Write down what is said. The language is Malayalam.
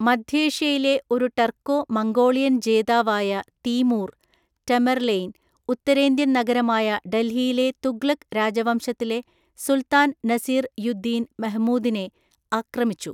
മധ്യേഷ്യയിലെ ഒരു ടർക്കോ മംഗോളിയൻ ജേതാവായ തീമൂർ (ടമെർലെയ്ൻ), ഉത്തരേന്ത്യൻനഗരമായ ഡൽഹിയിലെ തുഗ്ലക്ക് രാജവംശത്തിലെ സുൽത്താൻ നസീർ യു ദീൻ മെഹ്മൂദിനെ ആക്രമിച്ചു.